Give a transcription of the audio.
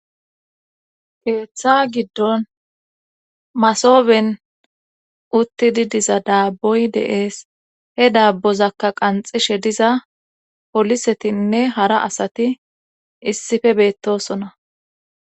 Keeththa giddon masoben uttidi diza daabboy deees he daabbozakka qanxishe diza polisetinne hara asati issife beettosona.